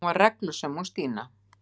Hún var reglusöm hún Stína.